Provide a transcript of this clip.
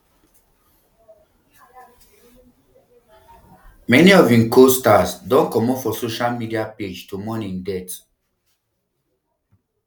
many of im costars don comot for social media page to mourn im death